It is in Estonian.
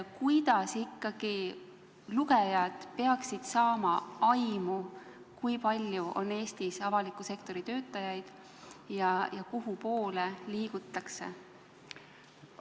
Kuidas ikkagi lugejad peaksid saama aimu, kui palju on Eestis avaliku sektori töötajaid ja kuhupoole liigutakse?